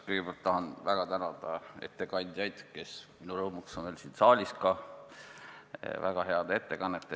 Kõigepealt tahan väga tänada ettekandjaid, kes minu rõõmuks on veel siin saalis, väga heade ettekannete eest.